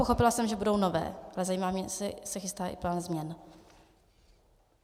Pochopila jsem, že budou nové, ale zajímá mě, jestli se chystá i plán změn.